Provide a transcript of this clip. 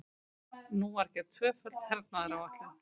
Nú var gerð tvöföld hernaðaráætlun.